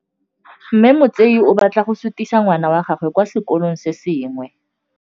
Mme Motsei o batla go sutisa ngwana wa gagwe kwa sekolong se sengwe.